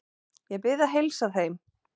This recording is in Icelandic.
Ég bið að heilsa þeim.